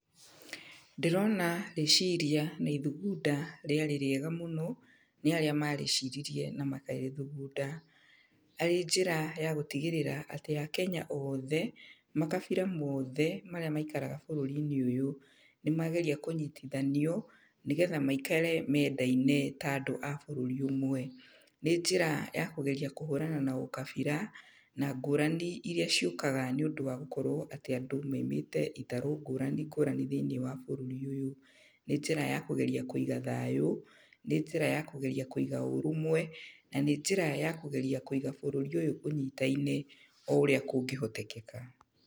Ndĩrona rĩciria na ithugunda rĩarĩ rĩega mũno, nĩ arĩa marĩciririe na makĩrĩthugunda. Arĩ njĩra ya gũtigĩrĩra atĩ Akenya othe, makabira mothe, marĩa maikaraga bũrũri-inĩ ũyũ, nĩ mageria kũnyitithanio, nĩgetha maikare mendaine ta andũ a bũrũri ũmwe. Nĩ njĩra ya kũgeria kũhũrana na ũkabira, na ngũrani irĩa ciũkaga nĩ ũndũ wa gũkorwo atĩ andũ maimĩte itarũ ngũrani ngũrani thĩiniĩ wa bũrũri ũyũ. Nĩ njĩra ya kũgeria kũiga thayũ, nĩ njĩra ya kũgeria kũiga ũrũmwe, na nĩ njĩra ya kũgeria kũiga bũrũri ũyũ ũnyitaine o ũrĩa kũngĩhotekeka.